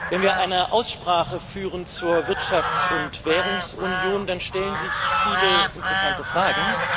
Wenn wir eine Aussprache führen zur Wirtschafts und Währungsunion, dann stellen sich viele interessante Fragen.